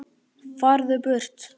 FARÐU BURT